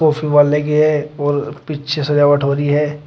और पीछे सजावट हो रही है।